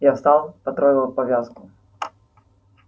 я встал потрогал повязку